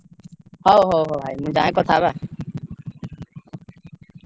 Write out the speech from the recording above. ହଉ ହଉ ହଉ ଭାଇ ମୁଁ ଯାଏ କଥା ହବା।